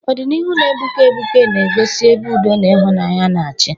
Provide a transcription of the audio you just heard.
Ọdịnihu na-egbuke egbuke na-egosi, ebe udo na ịhụnanya na-achị.